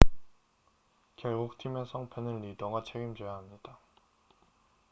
결국 팀의 성패는 리더가 책임져야 합니다